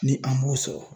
Ni an b'o sɔrɔ